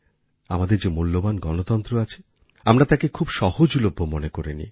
আমাদের যে মূল্যবান গণতন্ত্র আছে আমরা তাকে খুব সহজলভ্য মনে করে নিই